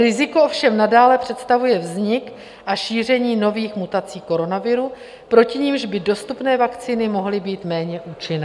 Riziko ovšem nadále představuje vznik a šíření nových mutací koronaviru, proti nimž by dostupné vakcíny mohly být méně účinné.